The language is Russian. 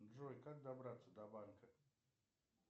джой как добраться до банка